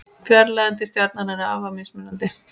Fjarlægðin til stjarnanna er afar mismunandi.